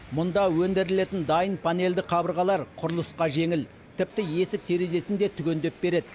мұнда өндірілетін дайын панельді қабырғалар құрылысқа жеңіл тіпті есік терезесін де түгендеп береді